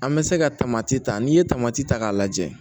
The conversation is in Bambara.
An bɛ se ka tamati ta n'i ye tamati ta k'a lajɛ